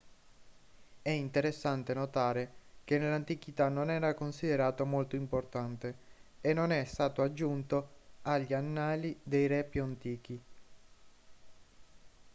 è interessante notare che nell'antichità non era considerato molto importante e non è stato aggiunto agli annali dei re più antichi